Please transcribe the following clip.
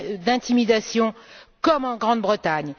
d'intimidation, comme en Grande Bretagne.